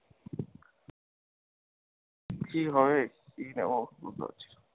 কি হবে, কি নেবো বুঝতে পারছিনা।